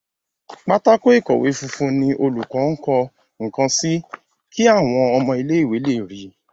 Pátákó ìkọ̀wé funfun ní olùkó nkó nkán sí kí àwọn ọmọ ilé ìwé lẹ rí.